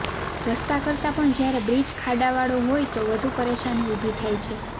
રસ્તા કરતાં પણ જ્યારે બ્રિજ ખાડાવાળો હોય તો વધુ પરેશાની ઊભી થાય છે